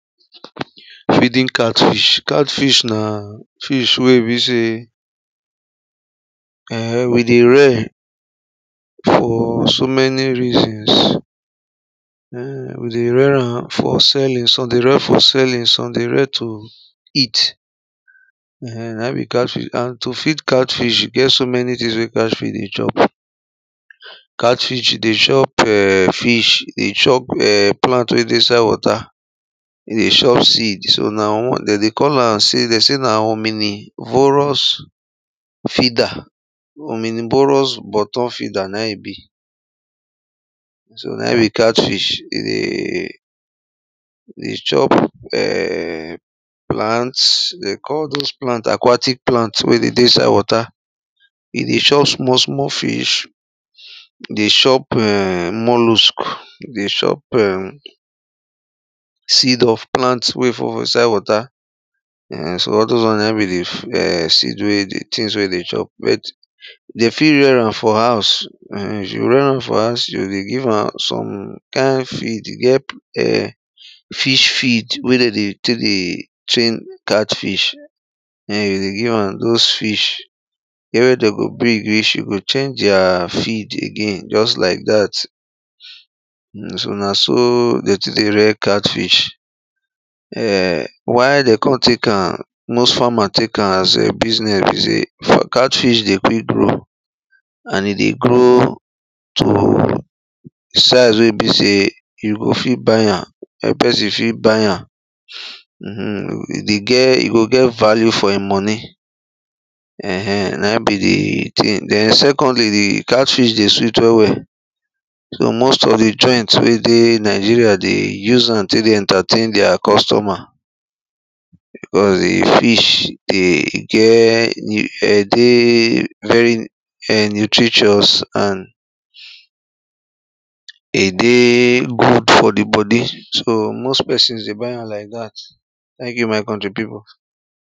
feeding catfish, catfish na fish wey e be sey um we dey rare for so many reason um we dey rare am for selling, some dey rare for selling, some dey rare to eat. um na im be catfish and to feed catfish, e get so many things wey catfish dey chop catfish dey chop um fish, dey chop plant wey dey inside water, dey chop seed, so na de dey call am sey de sey na ominivorous feeder, ominivorous bottom feeder na e be. so na in be catchfish. e dey chop um plant, de call those plant aquatic plant wey dey dey inside water, e dey chop small small fish, e dey chop um molusk, e dey chop um seed of plant wey fall for inside water, um so all those won na in be di seed wen e dey tins wey e dey chop. they fit rare am for house, you rare am for house you go dey give am some kind feed fish feed wey de dey tek dey train catfish den you o give am dose fish. get where de go big reach, you go change their feed again just like that um na so de tek de rare catfish. um why de kon tek am most farmer tek as business be say catfih dey quick grow, and e dey grow to size wey e be sey you o fit buy am, wey pesin fit buy am, um e go get e value for e moni. um na in be di thing den secondly di catfih dey sweet well well, so most of di joint wey dey nigeria dey use am take dey entertain dier customers. fish de get de dey very nutricious and e dey good for di bodi so most pesins dey buy am like dat thank you my coutry pipu.